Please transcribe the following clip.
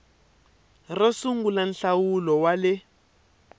ro sungula nhlawulo wa le